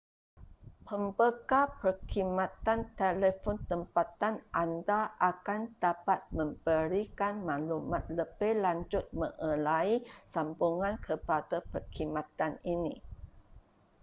pembekal perkhidmatan telefon tempatan anda akan dapat memberikan maklumat lebih lanjut mengenai sambungan kepada perkhidmatan ini